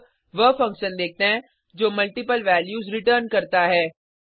अब वह फंक्शन देखते हैं जो मल्टिपल वैल्यूज़ रिटर्न करता है